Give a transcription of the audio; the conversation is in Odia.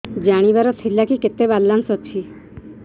ଜାଣିବାର ଥିଲା କି କେତେ ବାଲାନ୍ସ ଅଛି